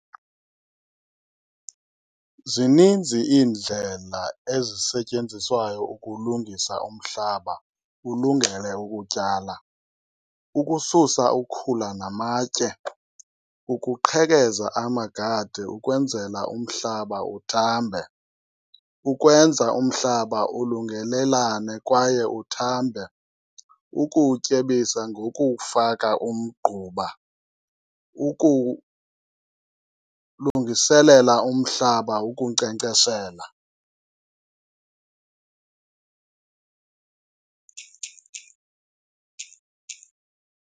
Zininzi iindlela eziseytenziswayo ukulungisa umhlaba ulungele ukutyala. Ukususa ukhula namatye, ukuqhekeza amagade ukwenzela umhlaba uthambe, ukwenza umhlaba ulungelelane kwaye uthambe. Ukuwutyebisa ngokuwufaka umgquba, lungiselela umhlaba ukunkcenkceshela.